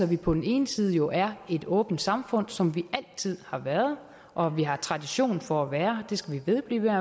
vi på den ene side jo er et åbent samfund som vi altid har været og vi har tradition for at være det skal vi vedblive